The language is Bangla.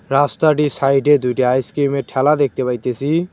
রাস্তাটির সাইড -এ দুইডা আইস ক্রিম -এর ঠেলা দেখতে পাইতেসি।